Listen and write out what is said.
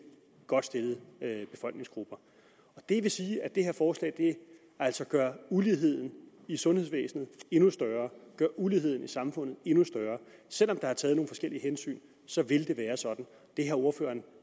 godt stillet befolkningsgruppe det vil sige at det her forslag altså gør uligheden i sundhedsvæsenet endnu større gør uligheden i samfundet endnu større selv om der er taget nogle forskellige hensyn så vil det være sådan det har ordføreren